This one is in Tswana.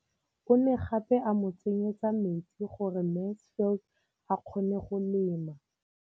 O ne gape a mo tsenyetsa metsi gore Mansfield a kgone go lema.